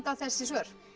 þessi svör